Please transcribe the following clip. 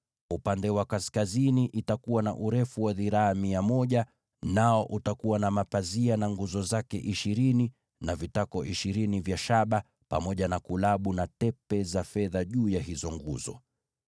Upande wa kaskazini utakuwa na urefu wa dhiraa mia moja, nao utakuwa na mapazia, pamoja na nguzo ishirini na vitako vya shaba ishirini, pamoja na kulabu na tepe za fedha juu ya hizo nguzo.